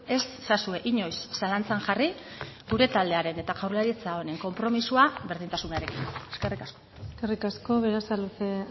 ez ezazue inoiz zalantzan jarri gure taldearen eta jaurlaritza honen konpromisoa berdintasunarekin eskerrik asko eskerrik asko berasaluze